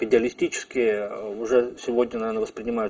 идеалистически уже сегодня наверно воспринимают